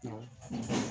Awɔ